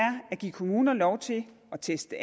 at give kommuner lov til at teste